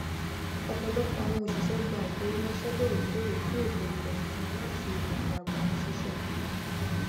ọpọlọpọ awọn òṣìṣẹ gba ifowóránṣẹ lórèkóòrè fún ètò ìfẹyìntì wọn láti ọdọ agbanisise wọn